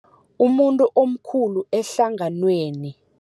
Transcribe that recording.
Umuntu omkhulu ehlanganweni.